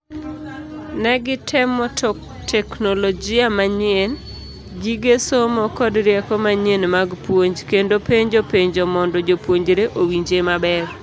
Negitemo teknologia manyien ,gige somo kod rieko manyien mag puonj. kendo penjo penjo mondo jopuonjre owinje maber.